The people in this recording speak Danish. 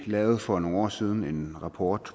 lavede for nogle år siden en rapport